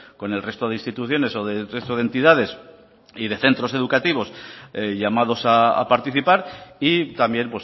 con el resto de instituciones o del resto de entidades y centros educativos llamados a participar y también